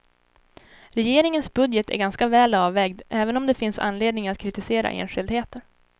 Regeringens budget är ganska väl avvägd, även om det finns anledning att kritisera enskildheter.